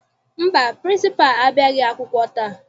Mba, pịrịnsịpalụ abịaghị akwụkwọ taa.